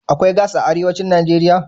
Akwai gas a arewacin Najeriya?